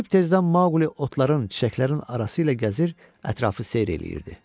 Sübh tezdən Mauli otların, çiçəklərin arası ilə gəzir, ətrafı seyr eləyirdi.